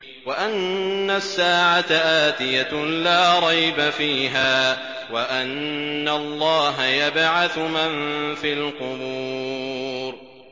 وَأَنَّ السَّاعَةَ آتِيَةٌ لَّا رَيْبَ فِيهَا وَأَنَّ اللَّهَ يَبْعَثُ مَن فِي الْقُبُورِ